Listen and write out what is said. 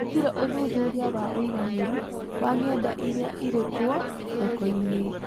Gũtirĩ ũthuthuria wa ũigananĩru wa ng’enda iria irĩ kuo thoko-inĩ